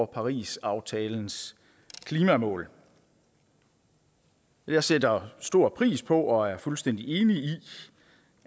parisaftalens klimamål jeg sætter stor pris på og er fuldstændig enig i